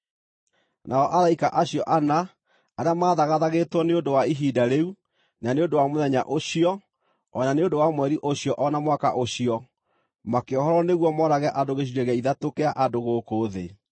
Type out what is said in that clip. Nao araika acio ana, arĩa maathagathagĩtwo nĩ ũndũ wa ihinda rĩu, na nĩ ũndũ wa mũthenya ũcio o na nĩ ũndũ wa mweri ũcio, o na mwaka ũcio makĩohorwo nĩguo moorage andũ gĩcunjĩ gĩa ithatũ kĩa andũ gũkũ thĩ.